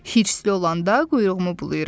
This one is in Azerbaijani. Hirsli olanda quyruğumu bulayıram.